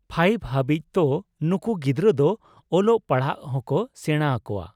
Five ᱦᱟᱹᱵᱤᱡ᱾ ᱛᱚ, ᱱᱩᱠᱩ ᱜᱤᱫᱽᱨᱟᱹ ᱫᱚ ᱚᱞᱚᱜ ᱯᱟᱲᱦᱟᱜ ᱦᱚᱸᱠᱚ ᱥᱮᱸᱬᱟᱣᱟᱠᱚᱣᱟ᱾